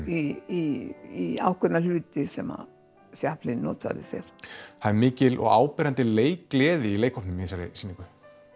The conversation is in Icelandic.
í ákveðna hluti sem notfærði sér það er mikil og áberandi leikgleði í leikhópnum í þessari sýningu